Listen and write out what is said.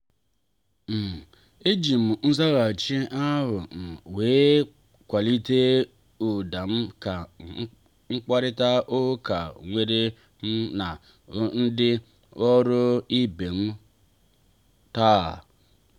um ejim nzaghachi ahụ um wee kwalite ụda m na mkparita ụka nwere mụ na ndị ọrụ ibem taa.